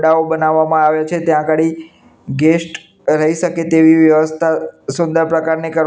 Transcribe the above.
ડાઓ બનાવામાં આવે છે ત્યાં ગાડી ગેસ્ટ રહી સકે તેવિ વ્યવસ્થા સુંદર પ્રકારની કર--